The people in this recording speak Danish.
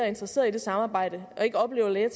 interesseret i det samarbejde og ikke oplever at læger